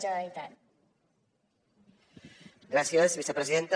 gràcies vicepresidenta